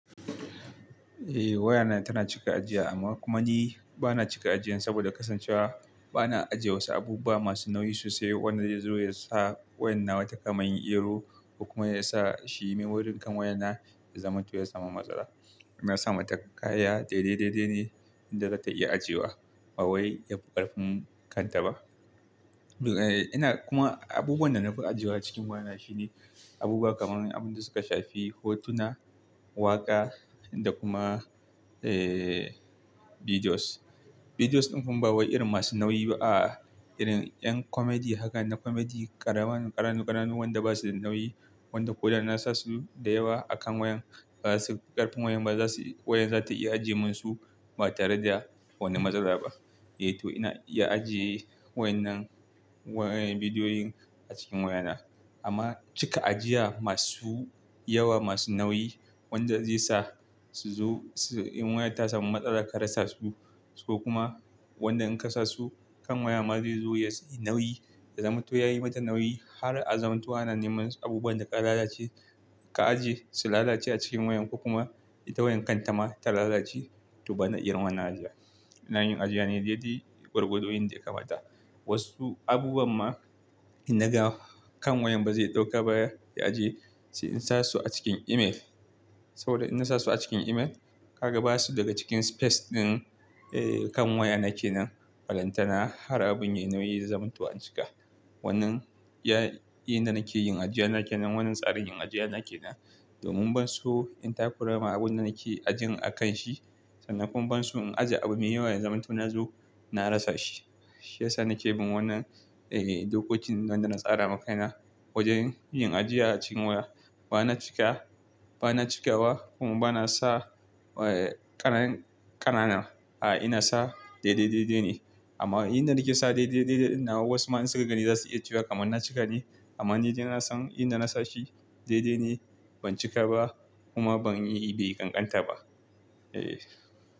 Eh wayana tana cika ajiya amma kuma ni bana cika ajiyan saboda kasancewa bana ajiye wasu abubuwa masu nauyi sosai wanda zai zo yasa waya nawa ta kama yin error ko kuma yasa shi memory kan wayana ya zamanto ya samu matsala. Me yasa mata kaya daidai daidai ne inda za ta iya ajiye wa ba wai yafi ƙarfin kanta ba. Kuma abubuwan da na fi ajiyewa cikin wayana shine abubuwa kamar abin da suka shafi hotuna, waƙa da kuma eh videos. Videos ɗin gun ban ba wa irin masu nauyi ba a irin 'yan comedy haka na comedy ƙaramin ƙananu ƙananu wanda basu da nauyi wanda ko da na sasu da yawa a kan wayan bazasu ƙarfin wayan ba zasu wayan zata iya ajiyemin su ba tare da wani matsala ba. Eh to ina iya ajiye wayan nan wayan bidiyoyin a cikin wayana. Amma cika ajiya masu yawa masu nauyi wanda zai sa su zo in wayan ta samu matsala ka rasa su so kuma wanda in ka sa su kan waya ma zai zo ya yi nauyi ya zamanto yayi mata nauyi har a zamanto ana neman abubuwan da ka lalace ka ajiye su lalace a cikin wayan ko kuma ita wayan kanta ma ta lalace to bana irin wannan ajiya. Ina yin ajiya ne daidai gwargwado in da ya kamata. Wasu abubuwan ma in naga kan wayan bazai ɗauka ba ya ajiye sai in sa su a cikin email. Saboda in na sa su a cikin email ka ga basu daga cikin space ɗin eh kan waya nake nan balantana har abun yayi nauyi ya zamanto an cika. Wannan ya yanda nake yin ajiya na kenan wannan tsarin yin ajiya na kenan domin ban so in takura ma abun da nake ajiyan a kan shi sannan kuma ban so in ajiye abu me yawan zamanto nazo na rasa shi. Shi yasa nake bin wannan eh dokokin nan da na tsara maka na wajen yin ajiya a cikin waya. Bana cika bana cika wa kuma bana sa ƙanan ƙanana a ina sa daidai dai dai ne. Amma inda nake sa daidai dai dai nawa wasu ma in suka gani zasu iya cewa kamar na cika ne amma ni dai na san inda na sa shi dai dai ne ban cika ba kuma ban yi bi ƙanƙanta ba. Eh.